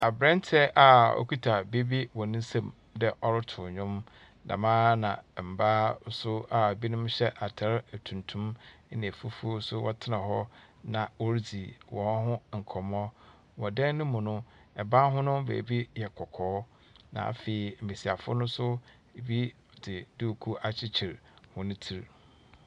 Abranteɛ a ɔkita biribi wɔ ne nsam dɛ ɔreto nwom. Dɛm ara na mma nso a ebinom hyɛ ataar tuntum na fufuo nso wɔtena hɔ na wɔredzi wɔn hɔ nkɔmmɔ. Wɔ dan no mu no, ban no ho baabi yɛ kɔkɔɔ na afeu mmesiafo no nso ebi de dukuu akyekyer hɔn tsir. No,.